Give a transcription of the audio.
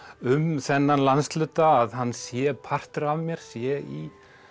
um þennan landshluta að hann sé partur af mér sé í